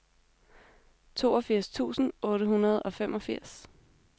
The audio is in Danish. toogfirs tusind otte hundrede og femogfirs